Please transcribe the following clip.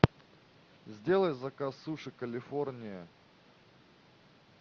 сделай заказ суши калифорния